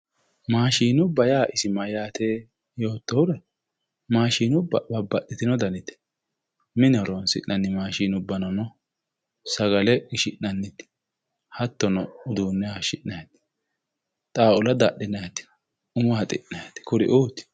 Maashinubba isi mayyaate yoottohura maashinubba babbaxxitino danite mine horonsi'nanni maashinubbanono sagale qishi'nanniti hattono uduunne hayishshi'nayti xaawula dadhinayti umo haxi'nayti kuri"uuti